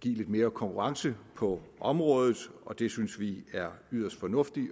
give lidt mere konkurrence på området og det synes vi er yderst fornuftigt